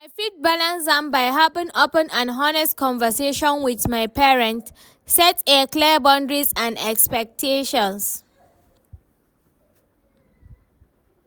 I fit balance am by having open and honest conversation with my parents, set a clear boundaries and expectations.